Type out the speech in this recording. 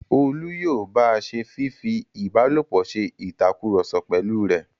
Olú yóò ba se fífi ìbálòpọ̀ se ìtakùrọ̀sọ pẹ̀lú rẹ̀.